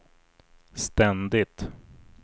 ständigt